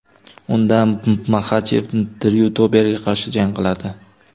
Unda Maxachev Dryu Doberga qarshi jang qiladi.